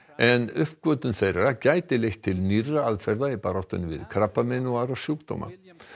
en uppgötvun þeirra gæti leitt til nýrra aðferða í baráttunni við krabbamein og aðra sjúkdóma